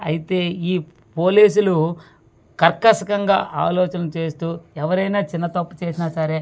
అయితే ఈ పోలీసులు కర్కశంగా ఆలోచనలు చేస్తూ ఎవరైనా చిన్న తప్పు చేసిన సరే వ--